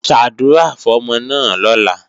Ṣàdúrà fọ́mọ náà lọ́la!